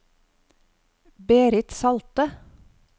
Berit Salte